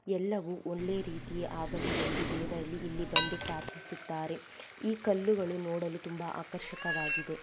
ಎಲ್ಲವು ಒಳ್ಳೆ ರೀತಿ ಆಗಲಿ ಎಂದು ದೇವರಲ್ಲಿ ಇಲ್ಲಿ ಬಂದು ಪ್ರಾಥಿಸುತ್ತಾರೆ ಈ ಕಲ್ಲುಗಳು ನೋಡಲು ತುಂಬಾ ನೋಡಲು ಆಕರ್ಷಕವಾಗಿದೇ.